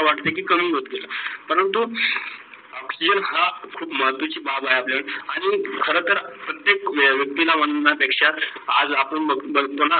करण तो oxygen हा खूप महत्वाची बाबत आहे. आपल्या आणी खर तर प्रत्येक वयक्ती ला मान्य पेक्षा आज आपण पुन्हा बग का बघतो कमी होती.